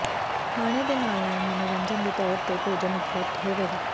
ਖਾਣੇ ਦੇ ਨਾਲ ਨਾਲ ਮਨੋਰੰਜਨ ਦੇ ਤੌਰ ਤੇ ਭੋਜਨ ਉਪਲਬਧ ਹੋਵੇਗਾ